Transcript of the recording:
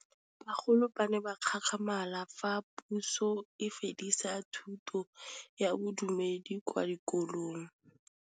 Bagolo ba ne ba gakgamala fa Pusô e fedisa thutô ya Bodumedi kwa dikolong.